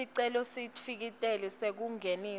sicelo sesitifiketi sekungenisa